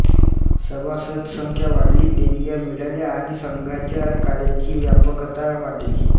सभासदसंख्या वाढली देणग्या मिळाल्या आणि संघाच्या कार्याची व्यापकता वाढली